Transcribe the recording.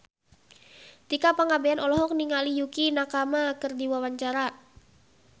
Tika Pangabean olohok ningali Yukie Nakama keur diwawancara